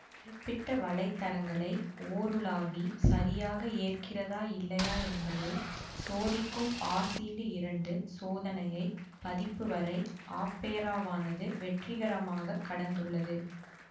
குறிப்பிட்ட வலை தரங்களை ஓருலாவி சரியாக ஏற்கிறதா இல்லையா என்பதை சோதிக்கும் ஆசிடு இரண்டு சோதனையை பதிப்பு வரை ஆப்பெராவானது வெற்றிகரமாக கடந்துள்ளது